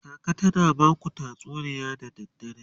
kaka tana Baku tatsuniya da dare?